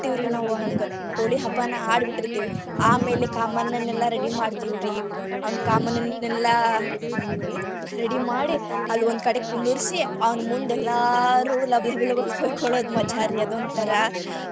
ನಾವ್ ಹಂಗ ಹೋಲಿ ಆಮೇಲೆ ಕಾಮಣ್ಣನ್ನೆಲ್ಲಾ ready ಮಾಡ್ತೇವ್ರಿ ಅವ್ನ್ ಕಾಮಣ್ಣನ್ನೆಲ್ಲ ready ಮಾಡಿ ಅಲ್ಲೇ ಒಂದ್ ಕಡೆ ಕುಂದ್ರಿಸಿ ಅವನ್ ಮುಂದೆಲ್ಲಾರೂ ಲಬ್ ಲಬ್ ಲಬ್ ಅಂತ್ ಹೊಯ್ಕೊಳ್ಳುದು ಮಜಾ ರೀ ಅದೊಂಥರಾ .